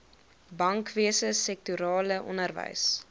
bankwese sektorale onderwys